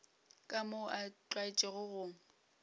ka moo a tlwaetšego go